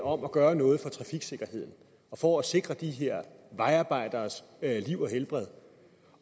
om at gøre noget for trafiksikkerheden for at sikre de her vejarbejderes liv og helbred